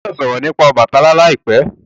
o gbódò sòrò nípa Obàtálá láìpé!